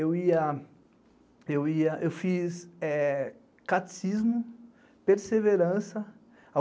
Eu ia, eu ia, eu fiz catecismo, perseverança.